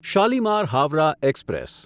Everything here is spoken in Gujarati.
શાલીમાર હાવરાહ એક્સપ્રેસ